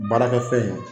Baarakɛ fɛn in